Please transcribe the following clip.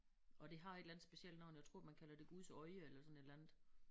Og det har et eller andet specielt navn jeg tror man kalder det Guds Øje eller sådan et eller andet